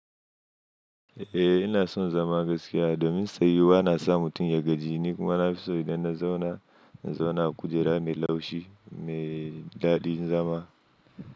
Eh ina son zama gaskiya domin tsayuwa na sa mutum ya gaji ni kuma na fi so idan na zauna, in zauna a kujera mai laushi mai daɗin zama.